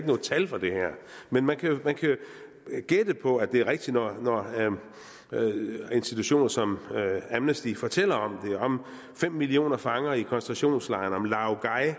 nogen tal for det her men man kan jo gætte på at det er rigtigt når institutioner som amnesty international fortæller om det om fem millioner fanger i koncentrationslejre om laogai